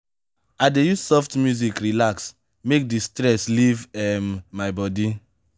i dey use soft music relax make di stress leave um my bodi.